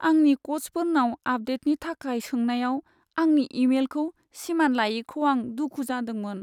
आंनि कचफोरनाव आपडेटनि थाखाय सोंनायाव आंनि इमेलखौ सिमान लायैखौ आं दुखु जोंदोंमोन।